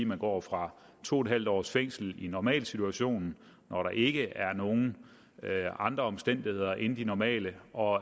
man går fra to en halv års fængsel i normalsituationen når der ikke er nogen andre omstændigheder end de normale og